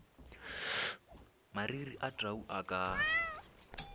mariri a tau a ka